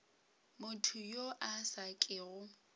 motho yo a sa kego